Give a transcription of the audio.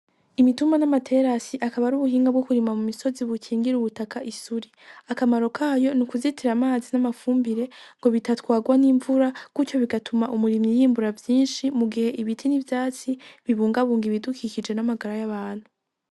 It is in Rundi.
Imitumba n'amaterasi akaba ari ubuhinga bwo kurima mu misozi bukingira ubutaka isuri, akamaro kayo n'ukuzitira amazi n'amafumbire ngo bitatwagwa n'imvura gutyo bigatuma umirimyi yimbura vyinshi mu gihe ibiti n'ivyatsi bibunga bunga ibidukikije n'amagara y'abantu.